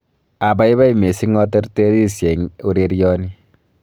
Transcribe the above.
Abaibai missing aterterisye eng ureryoni